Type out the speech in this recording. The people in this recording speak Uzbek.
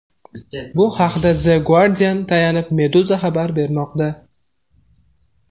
Bu haqda The Guardian’ga tayanib Meduza xabar bermoqda .